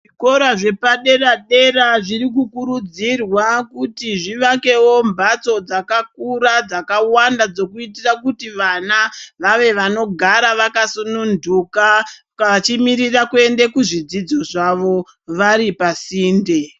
Zvikora zvepadera dera zviri kukurudzirwa kuti zvivakewo mbatso dzakakura dzakawanda dzekuitira kuti vana vave vanogara vakasununduka vachimirira kuende kuzvidzidzo zvavo vari pasinde.